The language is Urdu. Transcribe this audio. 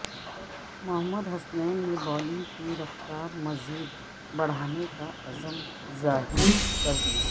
محمد حسنین نے بولنگ کی رفتار مزید بڑھانے کا عزم ظاہر کردیا